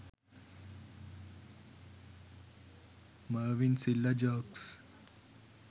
mervin silva jokes